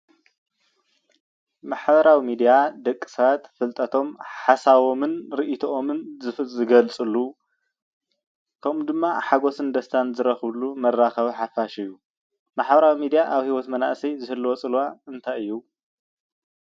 ማሕበራዊ ሚደያ ደቂ ሰባት ፍልጠቶምን ሓሳባቶምን ሪኢቶኦምን ዝገልፀሉ ከምኡ እውን ድማ ሓጎሶምን ደስታን ዝረክብሉ መራከቢ ሓፋሽ እዩ። ማሕበራዊ ሚዲያ አብ ሂወት መናእሰይ ዝህልዎ ፀልዋ እንታይ እዩ?